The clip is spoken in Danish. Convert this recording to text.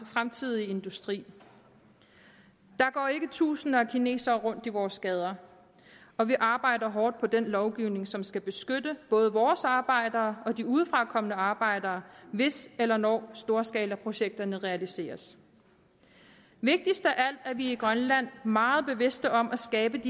fremtidige industri der går ikke tusinder af kinesere rundt i vores gader og vi arbejder hårdt på den lovgivning som skal beskytte både vores arbejdere og de udefrakommende arbejdere hvis eller når storskalaprojekterne realiseres vigtigst af alt er vi i grønland meget bevidste om at skabe